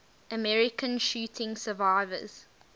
american shooting survivors